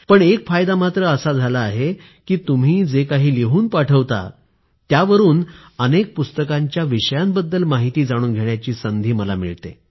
पण एक फायदा मात्र असा झाला आहे की तुम्ही जे काही लिहून पाठवता त्यावरून अनेक पुस्तकांच्या विषयांबद्दल माहिती जाणून घेण्याची संधी मला मिळते